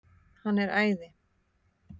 Hann er æði!